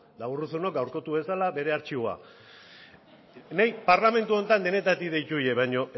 eta urruzunok gaurkotu dezala bere artxiboa niri parlamentu honetan denetatik deitu didate baina